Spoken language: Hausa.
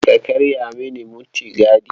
Kada ka karya mini mutigadi.